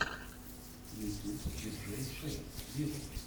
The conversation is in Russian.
ютюб диджей шейк вево